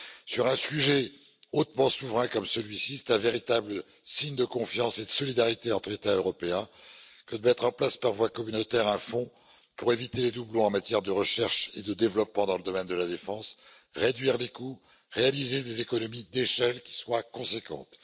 Sur un sujet hautement souverain comme celui ci, c'est un véritable signe de confiance et de solidarité entre États européens que de mettre en place par voie communautaire un fonds pour éviter les doublons en matière de recherche et de développement dans le domaine de la défense, réduire les coûts et réaliser des économies d'échelle qui soient conséquentes.